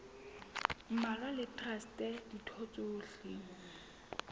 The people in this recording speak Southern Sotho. mmalwa le traste ditho tsohle